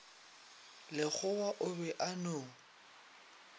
lekgowa o be a no